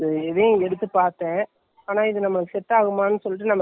பயம் தான் வந்துடுது, நான் பயப்பட கூடாது இப்போ கொஞ்சம் பரவா இல்லை.